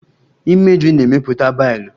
Imeju na-emepụta bailu